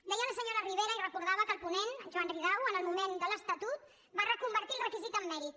deia la senyora ribera i recordava que el ponent en joan ridao en el moment de l’estatut va reconvertir el requisit en mèrit